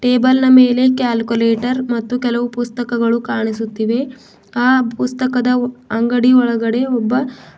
table ನ ಮೇಲೆ calculator ಮತ್ತು ಕೆಲವು ಪುಸ್ತಕಗಳು ಕಾಣಿಸುತ್ತಿವೆ ಆ ಪುಸ್ತಕದ ಅಂಗಡಿಯ ಒಳಗೆ ಒಬ್ಬ--